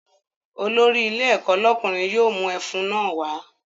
Olórí ilé ẹ̀kọ́ lọ́kùnrin yóò mú ẹfun náà wá